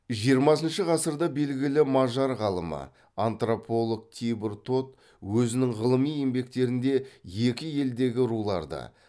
жиырмасыншы ғасырда белгілі мажар ғалымы антрополог тибор тот өзінің ғылыми еңбектерінде екі елдегі руларды